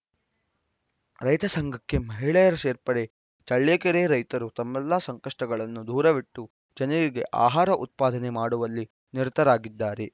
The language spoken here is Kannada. ರೈತ ಸಂಘಕ್ಕೆ ಮಹಿಳೆಯರ ಸೇರ್ಪಡೆ ಚಳ್ಳಕೆರೆ ರೈತರು ತಮ್ಮೆಲ್ಲಾ ಸಂಕಷ್ಟಗಳನ್ನು ದೂರವಿಟ್ಟು ಜನರಿಗೆ ಆಹಾರ ಉತ್ಪಾದನೆ ಮಾಡುವಲ್ಲಿ ನಿರತರಾಗಿದ್ದಾರೆ